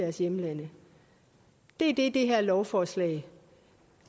deres hjemlande det er det det her lovforslag